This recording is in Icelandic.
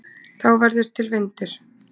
þá verður til vindur